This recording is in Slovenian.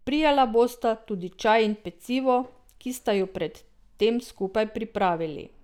Prijala bosta tudi čaj in pecivo, ki sta ju pred tem skupaj pripravili.